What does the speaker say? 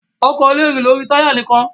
Ọkọ̀ le rìn lórí táy nìkan.